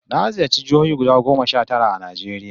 Na ziyarci jihohi guda goma sha tara a Najeriya